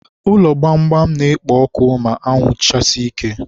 ụlọ gbamgbam na-ekpo ọkụ ma anwụ chasie ike.